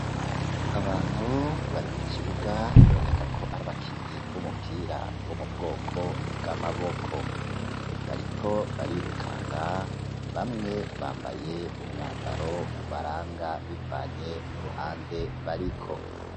Abantu bari mu kibuga biboneka ko ari abakinyi b'umupira wo mu bwoko bw'amaboko bariko barirukanga bamwe bambaye umwambaro ubaranga bivanye n'uruhande bariko.